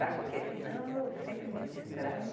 Porque senão eu sempre me distraio.